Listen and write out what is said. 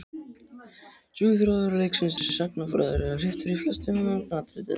Söguþráður leiksins er sagnfræðilega réttur í flestum meginatriðum.